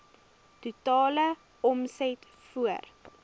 totale omset voor